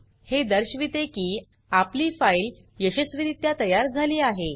हे दर्शविते की आपली फाइल यशस्वीरित्या तयार झाली आहे